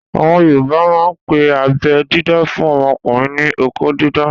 Àwọn yoòbá máà ń pe abẹ́ dídá fún ọmọkùnrin ní "okó dídá"